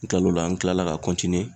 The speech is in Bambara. N kilal'o la an kilala ka